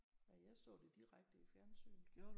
Ja jeg så det direkte i fjernsynet